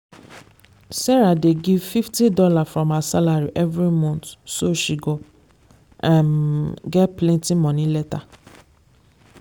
sarah dey save fifty dollarsfrom her salary every month so she go um get plenty money later.